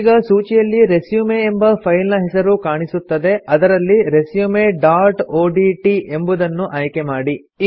ಈಗ ಸೂಚಿಯಲ್ಲಿ ರೆಸ್ಯೂಮ್ ಎಂಬ ಫೈಲ್ ನ್ ಹೆಸರು ಕಾಣಸಿಗುತ್ತದೆ ಅದರಲ್ಲಿ ರೆಸ್ಯೂಮ್ ಡಾಟ್ ಒಡಿಟಿ ಎಂಬುದನ್ನು ಆಯ್ಕೆಮಾಡಿ